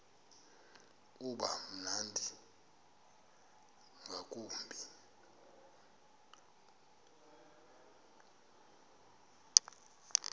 uba mnandi ngakumbi